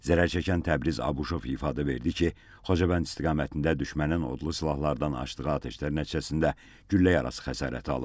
Zərərçəkən Təbriz Abuşov ifadə verdi ki, Xocavənd istiqamətində düşmənin odlu silahlardan açdığı atəşlər nəticəsində güllə yarası xəsarəti alıb.